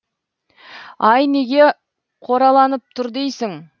ай неге қораланып тұр дейсің